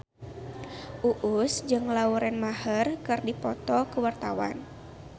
Uus jeung Lauren Maher keur dipoto ku wartawan